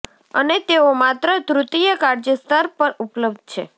અને તેઓ માત્ર તૃતીય કાળજી સ્તર પર ઉપલબ્ધ છે